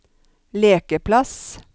lekeplass